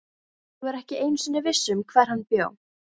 Ég var ekki einu sinni viss um hvar hann bjó.